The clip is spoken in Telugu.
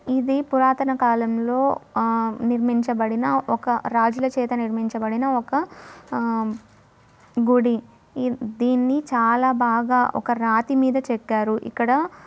ఇది పురాతన కాలం లో ఆ నిర్మించబడిన ఒక రాజుల చేత నిర్మించబడిన ఒక గుడి. దీన్ని చాలా బాగా ఒక రాతి మీద చెక్కారు ఇక్కడ.